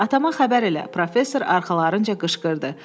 Atama xəbər elə, professor arxalarınca qışqırdı.